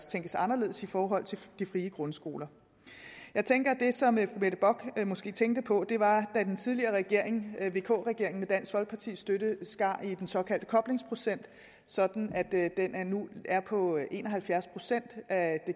tænkes anderledes i forhold til de frie grundskoler jeg tænker at det som fru mette bock måske tænkte på var at den tidligere regering vk regeringen med dansk folkepartis støtte skar ned i den såkaldte koblingsprocent sådan at den nu er på en og halvfjerds procent af